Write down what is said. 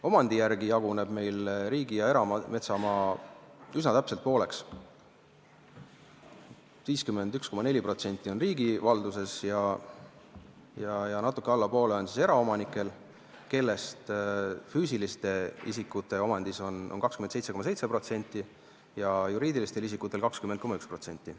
Omandivormi järgi jaguneb meil riigi- ja erametsamaa üsna täpselt pooleks: 51,4% on riigi valduses ja natuke alla poole on eraomanikel, füüsiliste isikute omandis on 27,7% ja juriidilistel isikutel 20,1%.